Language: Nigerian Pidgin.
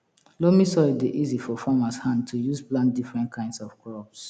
loamy soil dey easy for farmers hand to use plant different kind of crops